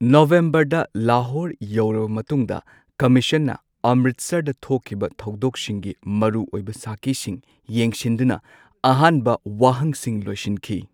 ꯅꯕꯦꯝꯕꯔꯗ ꯂꯥꯍꯣꯔ ꯌꯧꯔꯕ ꯃꯇꯨꯡꯗ ꯀꯝꯃꯤꯁꯟꯅ ꯑꯝꯔꯤꯠꯁꯔꯗ ꯊꯣꯛꯈꯤꯕ ꯊꯧꯗꯣꯛꯁꯤꯡꯒꯤ ꯃꯔꯨꯑꯣꯏꯕ ꯁꯥꯈꯤꯁꯤꯡ ꯌꯦꯡꯁꯤꯟꯗꯨꯅ ꯑꯍꯥꯟꯕ ꯋꯥꯍꯪꯁꯤꯡ ꯂꯣꯏꯁꯤꯟꯈꯤ꯫